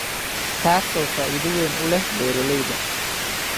taasoo faa�iido weyn u leh beeralayda